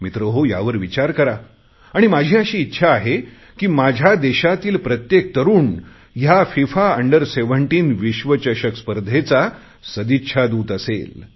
मित्रहो यावर विचार करा आणि माझी अशी इच्छा आहे की माझ्या देशातील प्रत्येक तरुण या फिफा अंडर 17 विश्वचषक स्पर्धेचा सदिच्छादूत असेल